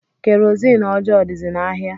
Kerozini ọjọọ dizi n'ahịa.